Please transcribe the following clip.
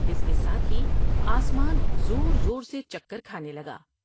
اس کے ساتھ ہی آسمان زور زور سے چکر کھانے لگا ۔